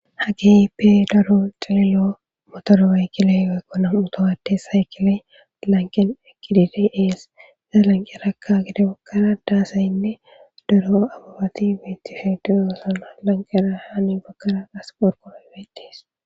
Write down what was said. Ha keehippe daro tseeliyo motoro oyiqqida woykko uttida na'amu adde sayikkile lanqen eqqidi dees. Ha lanqerakka gede baggara da asaynne daro ababati betishe doosana .Lanqera hinni baggara qassi qorqoroyka bettes.